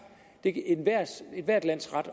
det er ethvert lands ret